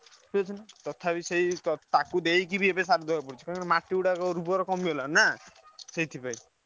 କିଛି ନାହିଁ ତଥାପି ସେ ତାକୁ ଦଦେଇକିବି ଏବେ ସାର ଦବାକୁ ପଡୁଛି କାରଣ ମାଟି ଗୁଡାକ ଉର୍ବର କମିଗଲାଣି ନାଁ ସେଇଥିପାଇଁ।